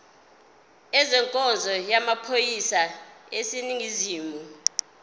ezenkonzo yamaphoyisa aseningizimu